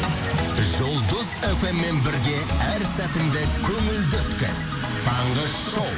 жұлдыз фм мен бірге әр сәтіңді көңілді өткіз таңғы шоу